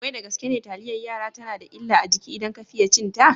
Wai da gaske ne taliyar yara tana da illa a jiki idan ka fiye cinta?